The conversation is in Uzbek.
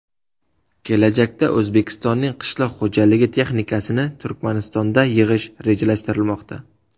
Kelajakda O‘zbekistonning qishloq xo‘jalik texnikasini Turkmanistonda yig‘ish rejalashtirilmoqda.